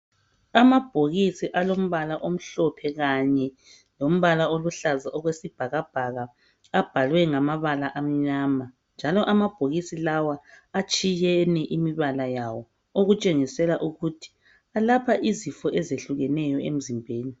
Amabhokisi alombala omhlophe kanye lombala oluhlaza okwesibhakabhaka abhalwe ngamabala amnyama njalo amabhokisi lawa atshiyene imibala yawo okutshengisela ukuthi elapha izifo ezitshiyeneyo emzimbeni